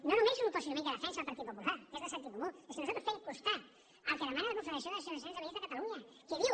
no només un posicionament que defensa el partit popular que és de sentit comú és que nosaltres fem costat al que demana la confederació d’associacions de veïns de catalunya que diu